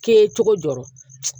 K'i ye cogo jɔ